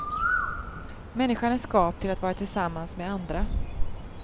Människan är skapt till att vara tillsammans med andra.